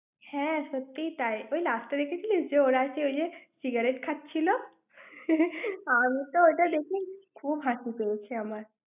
হ্যাঁ, সত্যিই তাই। ওই last এ দেখেছিলিস, যে ওঁরা যে ঐ যে, cigarette খাচ্ছিল। আমিতো ওটা দেখে, খুব হাসি পেয়েছে আমার।